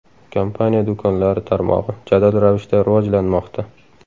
Kompaniya do‘konlari tarmog‘i jadal ravishda rivojlanmoqda.